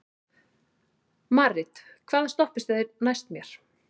Marit, hvaða stoppistöð er næst mér?